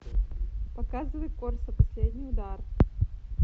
показывай корсо последний удар